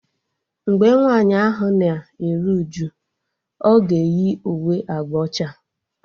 Mgbe nwaanyị ahụ na-eru uju, ọ ga eyi uwe agba ọcha